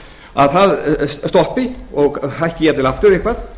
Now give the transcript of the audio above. að það stoppi og hækki jafnvel aftur eitthvað